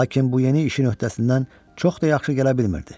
Lakin bu yeni işin öhdəsindən çox da yaxşı gələ bilmirdi.